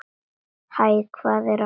Hæ, hvað er að frétta?